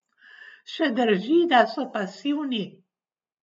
Še drži, da so pasivni?